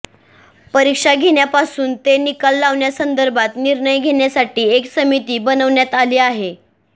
परीक्षा घेण्यापासून ते निकाल लावण्यासंदर्भात निर्णय घेण्यासाठी एक समिती बनवण्यात आली आहे